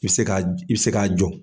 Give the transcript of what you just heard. I bi se i bi se k'a jɔ.